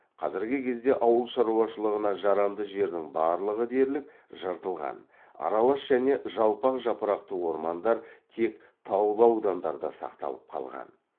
қазіргі кезде ауыл шаруашылығына жарамды жердің барлығы дерлік жыртылған аралас және жалпақ жапырақты ормандар тек таулы аудандарда сақталып қалған